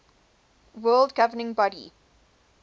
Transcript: world governing body